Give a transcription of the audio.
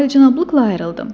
Alicənablıqla ayrıldım.